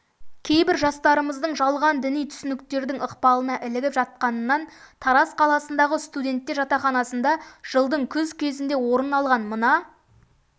кейбір жастарымыздың жалған діни түсініктердің ықпалына ілігіп жатқанынан тараз қаласындағы студенттер жатақханасында жылдың күз кезінде орын алған мына